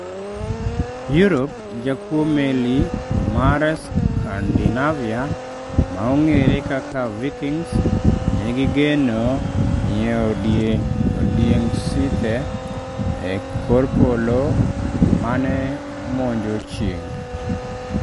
Europe, jakuo meli mar Scandinavia maong'ere kaka Vikings negigeno ni odieng sithe e kor polo mane monjo chieng'